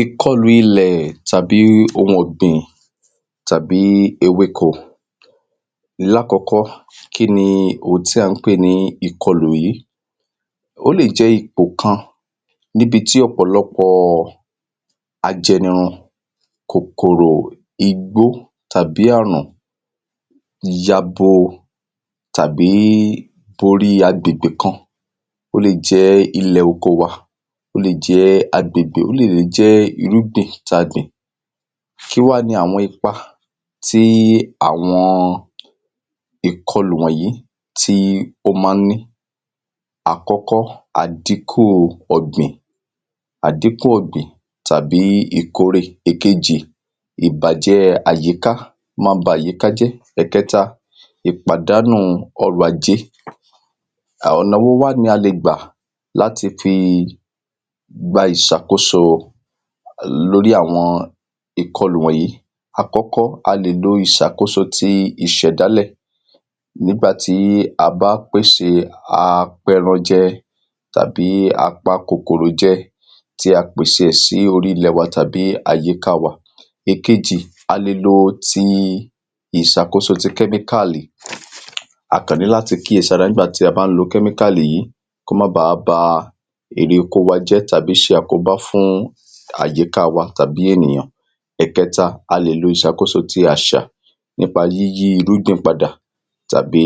ìkọlù ilẹ̀ tàbí ohun ọ̀gbìn tàbí ewéko láàkọ́kọ́ kínni ohun tí à ń pè ní ìkọlù yìí. ó lè jẹ́ ipò kan níbi tí ọ̀pọ̀lọpọ̀ ajẹnirun kòkòrò igbó tàbí àrùn yabo tàbí borí agbègbè kan ó le jẹ́ ilẹ̀ oko wa ó le jẹ́ agbègbè ó dẹ̀ lè jẹ́ irúgbìn ta gbìn kí wá ni àwọn ipa tí àwọn ìkọlù wọ̀nyìí tí ó ma ń ní àkọ́kọ́, àdínkù ọ̀gbìn tàbí ìkórè èkejì, ìbàjẹ́ àyíká, ó ma ń ba àyíká jẹ́ ẹ̀kẹ́ta, ìpàdánù ọrọ̀ ajé ọ̀nà wo wá ni a lè gbà láti fi gba ìsàkóso lórí àwọn ìkọlù wọ̀nyìí àkọ́kọ́, a lè lo ìṣàkóso ti ìṣẹ̀dálẹ̀ nígbà tí a bá pèsè apẹranjẹ tàbí apakòkòròjẹ tí a pèsè ẹ̀ sí orí ilẹ̀ wa tàbí àyíká wa èkejì, a le lọ ti ìsàkósó ti kẹ́míkáàlì a kàn ní láti kíyèsára tí a bá ń lo kẹ́míkáàlì yìí kó má bá ba ère oko wa jẹ́ tàbí ṣe àkóbá fún àyíká wa tàbí ènìyàn ẹ̀kẹ́ta, a lè lo ìṣàkóso ti àṣa nípa yíyí irúgbìn padà tàbí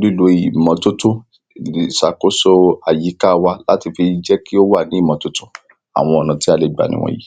lílo ìmọ́tótó, ìsàkóso àyíkáa wa láti fi jẹ́ kí ó wà ní ìmọ́tótó àwọn ọ̀nà tí a lè gbà ni ìwọ̀nyí.